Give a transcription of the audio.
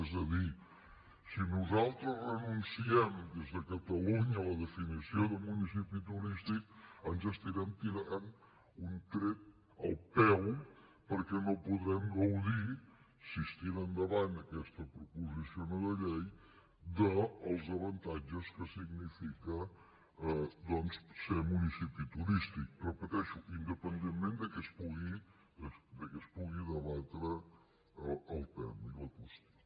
és a dir si nosaltres renunciem des de catalunya a la definició de municipi turístic ens estarem tirant un tret al peu perquè no podrem gaudir si es tira endavant aquesta proposició no de llei dels avantatges que significa doncs ser municipi turístic ho repeteixo independentment de que es pugui debatre el tema i la qüestió